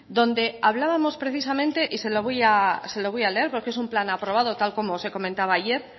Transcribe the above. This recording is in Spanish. donde hablábamos precisamente y se lo voy a leer porque es un plan aprobado tal y como os comentaba ayer